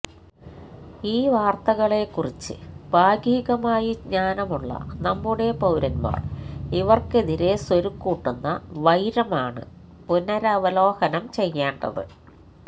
ഈ വാർത്തകളെക്കുറിച്ച് ഭാഗികമായി ജ്ഞാനമുള്ള നമ്മുടെ പൌരൻമാർ ഇവർ ക്കെതിരെ സ്വരുക്കൂട്ടുന്ന വൈരമാണ് പുനരവലോകനം ചെയ്യേണ്ടത്